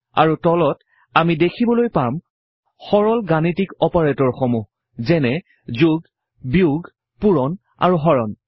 আৰু তলত আমি দেখিবলৈ পাম সৰল গাণিতিক অপাৰেটৰসমূহ যেনে যোগ বিয়োগ পূৰণ আৰু হৰণ